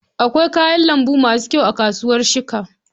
Akwai kayan lambu masu kyau a kasuwar shika.